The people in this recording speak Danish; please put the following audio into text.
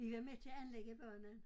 Vi var med til at anlægge banen